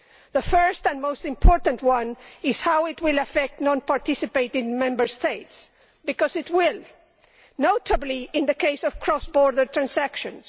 The first and most important one is how it will affect non participating Member States because it will, notably in the case of cross border transactions.